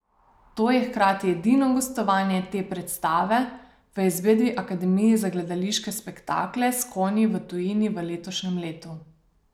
To je hkrati edino gostovanje te predstave v izvedbi Akademije za gledališke spektakle s konji v tujini v letošnjem letu.